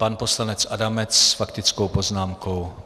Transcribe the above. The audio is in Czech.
Pan poslanec Adamec s faktickou poznámkou.